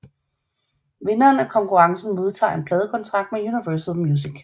Vinderen af konkurrencen modtager en pladekontrakt med Universal Music